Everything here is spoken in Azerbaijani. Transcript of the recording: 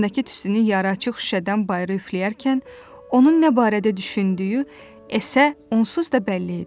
Ağzındakı tüstünü yaraaçıq şüşədən bayıra üfləyərkən onun nə barədə düşündüyü E-sə onsuz da bəlli idi.